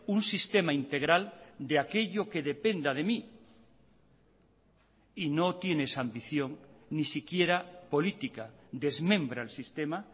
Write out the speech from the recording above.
un sistema integral de aquello que dependa de mí y no tiene esa ambición ni siquiera política desmembra el sistema